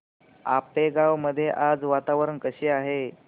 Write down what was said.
आपेगाव मध्ये आज वातावरण कसे आहे